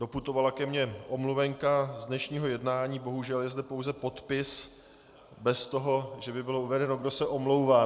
Doputovala ke mně omluvenka z dnešního jednání, bohužel je zde pouze podpis bez toho, že by bylo uvedeno, kdo se omlouvá.